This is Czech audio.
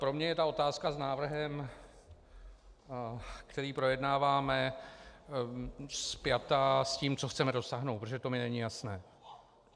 Pro mě je ta otázka s návrhem, který projednáváme, spjata s tím, co chceme dosáhnout, protože to mi není jasné.